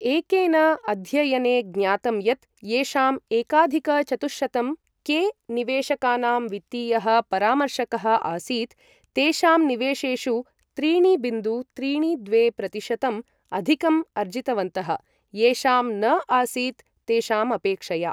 एकेन अध्ययने ज्ञातं यत् येषां एकाधिक चतुःशतं के निवेशकानां वित्तीयः परामर्शकः आसीत्, तेषां निवेशेषु त्रीणि बिन्दु त्रीणि द्वे प्रतिशतम् अधिकम् अर्जितवन्तः, येषां न आसीत् तेषाम् अपेक्षया।